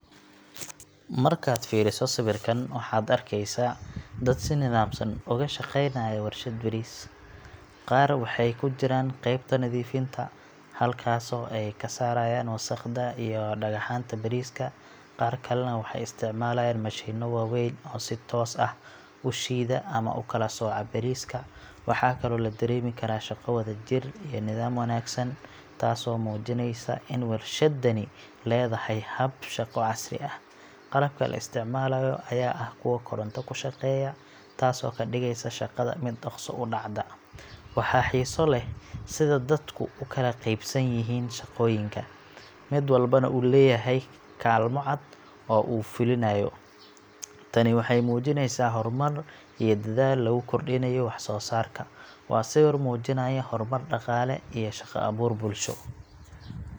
Markaad fiiriso sawirkan, waxaad arkaysaa dad si nidaamsan uga shaqeynaya warshad bariis. Qaar waxay ku jiraan qaybta nadiifinta, halkaasoo ay ka saarayaan wasakhda iyo dhagaxaanta bariiska. Qaar kalena waxay isticmaalayaan mashiinno waaweyn oo si toos ah u shiida ama u kala sooca bariiska. Waxaa kaloo la dareemi karaa shaqo wadajir iyo nidaam wanaagsan, taasoo muujinaysa in warshaddani leedahay hab shaqo casri ah. Qalabka la isticmaalayo ayaa ah kuwo koronto ku shaqeeya, taasoo ka dhigaysa shaqada mid dhakhso u dhacda. Waxaa xiiso leh sida dadku u kala qaybsan yihiin shaqooyinka, mid walbana uu leeyahay kaalmo cad oo uu fulinayo. Tani waxay muujinaysaa horumar iyo dadaal lagu kordhinayo waxsoosaarka. Waa sawir muujinaya horumar dhaqaale iyo shaqo-abuur bulsho.